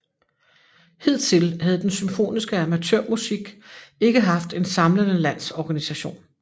Hidtil havde den symfoniske amatørmusik ikke haft en samlende landsorganisation